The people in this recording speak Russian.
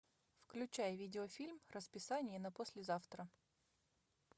включай видеофильм расписание на послезавтра